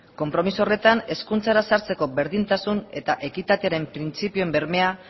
konpromiso horretan hezkuntzara sartzeko berdintasun eta ekitatearen printzipioen bermea